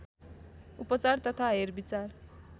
उपचार तथा हेरविचार